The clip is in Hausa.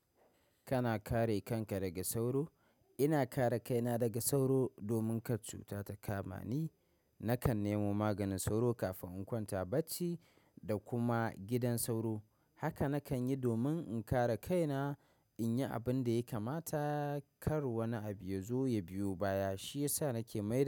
Kana kare kanka daga sauro? Ina kare kaina daga sauro domin kar cutar ta kama ni. Nakan nemo maganin sauro kafin in kwanta bacci da kuma gidan sauro. Haka nakanyi domin in kare kaina inyi abinda ya kamata kar wani abu yazo ya biyo baya. Shiyasa nake mai.